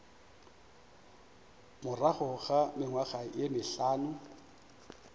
morago ga mengwaga ye mehlano